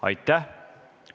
Aitäh!